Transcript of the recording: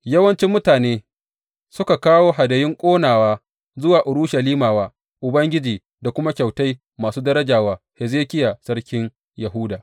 Yawanci mutane suka kawo hadayun ƙonawa zuwa Urushalima wa Ubangiji da kuma kyautai masu daraja wa Hezekiya sarkin Yahuda.